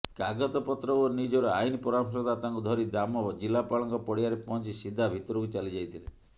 କାଗତପତ୍ର ଓ ନିଜର ଆଇନ ପରାମର୍ଶଦାତାଙ୍କୁ ଧରି ଦାମ ଜିଲ୍ଲାପାଳଙ୍କ ପଡ଼ିଆରେ ପହଞ୍ଚି ସିଧା ଭିତରକୁ ଚାଲି ଯାଇଥିଲେ